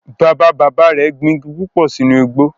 Bàbá bàbá rẹ̀ gbin igi púpò sínú igbó